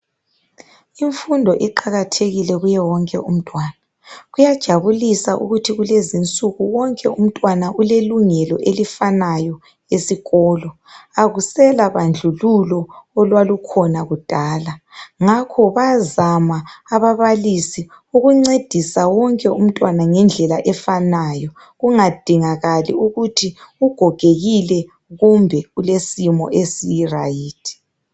Imfundo iqakathekile kuwo wonke umntwana, kuyajabulisa ukuthi kulezinsuku wonke umntwana ulelungelo elifanayo esikolo akusela bandlululo olwalukhona kudala ngakho bayazama ababalisi ukuncedisa wonke umntwana ngendlela efanayo kungadingakali ukuthi ugogekile kumbe ulesimo esi right.